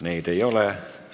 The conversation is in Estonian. Neid ei ole.